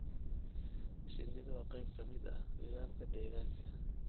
Shinnidu waa qayb ka mid ah nidaamka deegaanka.